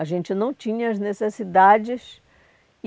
A gente não tinha as necessidades.